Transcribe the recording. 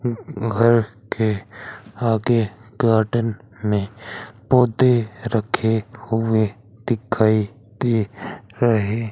ऊं अ घर के आगे गार्डन में पौधे रखे हुए दिखाइ दे रहे--